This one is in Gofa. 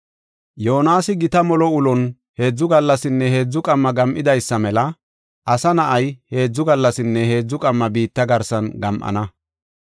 Yoonasi gita molo ulon heedzu gallasinne heedzu qamma gam7idaysa mela Asa Na7ay heedzu gallasinne heedzu qamma biitta garsan gam7ana.